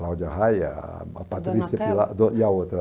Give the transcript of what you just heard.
Cláudia Raia, a a Patrícia Pilar e a outra.